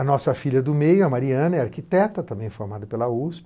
A nossa filha do meio, a Mariana, é arquiteta, também formada pela USP.